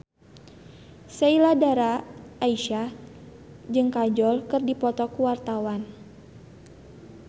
Sheila Dara Aisha jeung Kajol keur dipoto ku wartawan